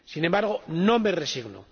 Sin embargo, no me resigno.